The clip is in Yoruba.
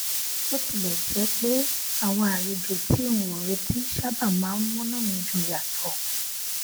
bó tilè jé pé àwọn àlejò tí n ò retí sábà máa ń múnú mi dùn yàtọ